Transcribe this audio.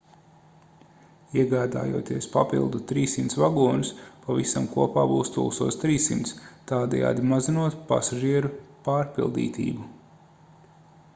iegādājoties papildu 300 vagonus pavisam kopā būs 1300 tādējādi mazinot pasažieru pārpildītību